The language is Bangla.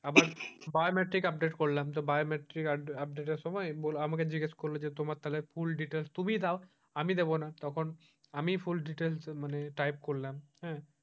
আবার biometric update করলাম তো biometric update এর সময় আমাকে জিজ্ঞাসা করলো যে তোমার তাহলে full details তুমি দাও আমি দেব না তখন আমি full details type করলাম হ্যাঁ,